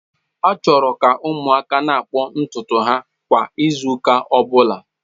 A chọrọ ka ụmụaka na-akpụ ntutu ha kwa izu ụka ọ bụla.